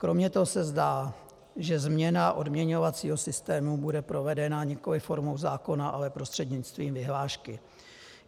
Kromě toho se zdá, že změna odměňovacího systému bude provedena nikoliv formou zákona, ale prostřednictvím vyhlášky.